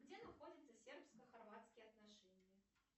где находятся сербско хорватские отношения